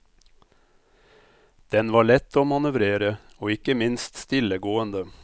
Den var lett å manøvrere og ikke minst stillegående.